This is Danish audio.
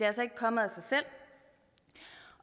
altså ikke kommet